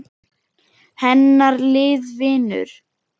Hennar lið vinnur.